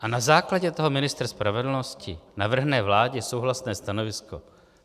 A na základě toho ministr spravedlnosti navrhne vládě souhlasné stanovisko.